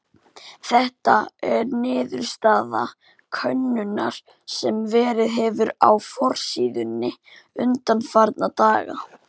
Þetta er niðurstaða könnunar sem verið hefur á forsíðunni undanfarna daga.